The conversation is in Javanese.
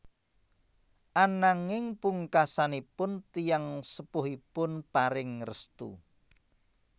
Ananging pungkasanipun tiyang sepuhipun paring restu